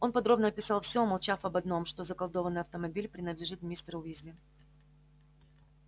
он подробно описал все умолчав об одном что заколдованный автомобиль принадлежит мистеру уизли